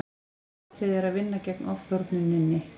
aðalatriðið er að vinna gegn ofþornuninni